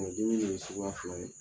joli in ye suguya fila de ye.